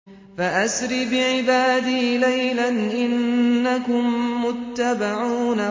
فَأَسْرِ بِعِبَادِي لَيْلًا إِنَّكُم مُّتَّبَعُونَ